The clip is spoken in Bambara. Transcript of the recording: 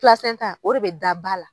o de bɛ da ba la.